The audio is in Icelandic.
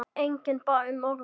Enginn bað um orðið.